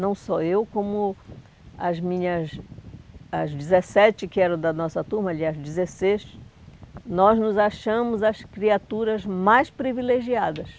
Não só eu, como as minhas... as dezessete que eram da nossa turma, aliás, dezesseis, nós nos achamos as criaturas mais privilegiadas.